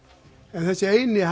en þessi eini